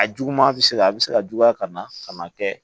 A juguman bɛ se ka a bɛ se ka juguya ka na ka na kɛ